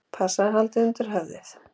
Passaðu að halda undir höfuðið!